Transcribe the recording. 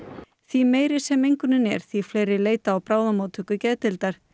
því meiri sem mengunin er því fleiri leita á bráðamóttöku geðdeildar